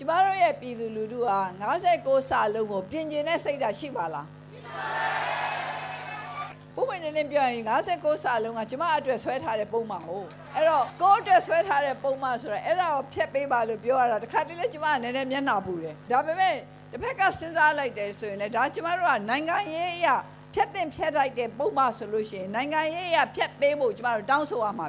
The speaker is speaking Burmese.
ကျမတို့ရဲ့ ပြည်သူလူထုဟာ ၅၉ ကို ပြင်ဆင်ချင်တဲ့စိတ်ရှိမှာလား၊ အဲ့ဒါကို ကျမမေးရတဲ့အကြောင်းက ပွင့်ပွင့်လင်းလင်းပြောရရင် ၅၉ က ကျမအတွက် ဆွဲထားတဲ့ပုဒ်မကိုး၊ ကိုယ့်အတွက်ဆွဲထားတဲ့ပုဒ်မကို ဖျက်ပေးပါလို့ပြောရတာ တစ်ခါတလေလည်း ကျမမျက်နှာပူတယ်၊ ဒါပေမယ့် တစ်ဖက်ကစဉ်းစားလိုက်ရင် လည်း နိုင်ငံရေးအရ ဖျက်သင့်ဖျက်ထိုက်တဲ့ပုဒ်မဆိုရင် နိုင်ငံရေးအရဖျက်ပေးဖို့ ကျမတို့ တောင်းဆို ရမှာ